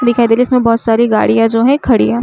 दिखाई दे रही है। इसमें बहुत सारी गाड़ियां जो है खड़ी है।